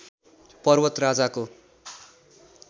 पर्वत राजाको